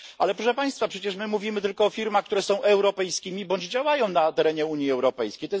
Ale proszę Państwa przecież, my mówimy tylko o firmach, które są europejskimi bądź działają na terenie Unii Europejskiej.